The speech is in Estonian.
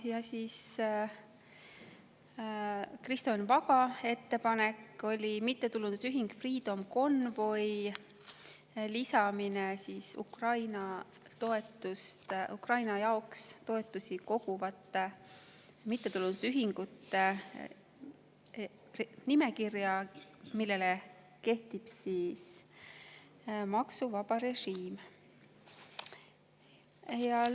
Ja Kristo Enn Vaga ettepanek oli mittetulundusühing Freedom Convoy lisamine Ukraina jaoks toetusi koguvate mittetulundusühingute nimekirja, millele kehtib maksuvaba režiim.